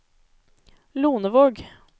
Lonevåg